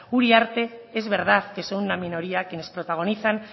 uriarte es verdad que son una minoría quienes protagonizan